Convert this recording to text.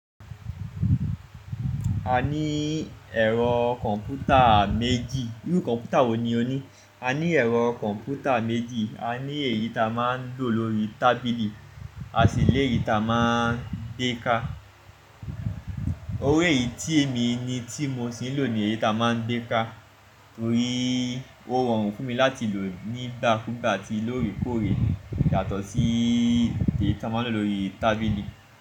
A ní ẹ̀rọ kọ̀m̀pútà méjì. Irú kọ̀m̀pútà wo ni o ní? A ní ẹ̀rọ kọ̀m̀pútà méjì. A ní èyí ta máa ń lò lórí tábìlì à si lèyí ta máa ń dé ká. Orí èyí tí èmi ni tí mo sì ń lò ni èyí ta máa ń gbé ká, torí ó rọrùn fún mi láti lò nígbàkúgbà atí lóorekóorè yàtọ̀ sí ti èyí ta máa ń lò lórí tábìlì.